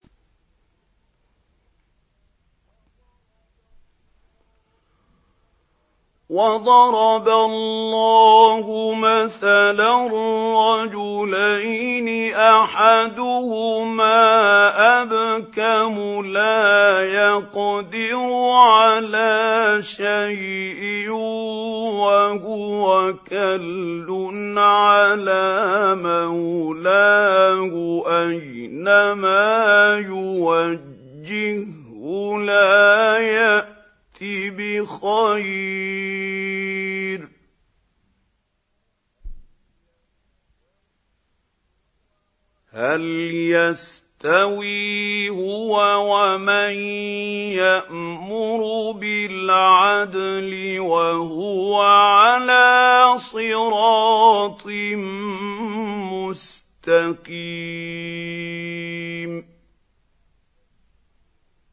وَضَرَبَ اللَّهُ مَثَلًا رَّجُلَيْنِ أَحَدُهُمَا أَبْكَمُ لَا يَقْدِرُ عَلَىٰ شَيْءٍ وَهُوَ كَلٌّ عَلَىٰ مَوْلَاهُ أَيْنَمَا يُوَجِّههُّ لَا يَأْتِ بِخَيْرٍ ۖ هَلْ يَسْتَوِي هُوَ وَمَن يَأْمُرُ بِالْعَدْلِ ۙ وَهُوَ عَلَىٰ صِرَاطٍ مُّسْتَقِيمٍ